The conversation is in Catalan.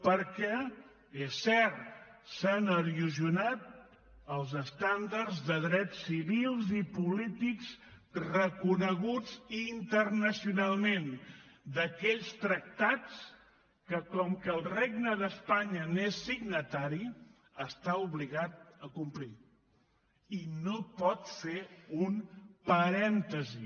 perquè és cert s’han erosionat els estàndards de drets civils i polítics reconeguts internacionalment d’aquells tractats que com que el regne d’espanya n’és signatari està obligat a complir i no pot fer un parèntesi